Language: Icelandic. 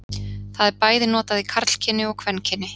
það er bæði notað í karlkyni og kvenkyni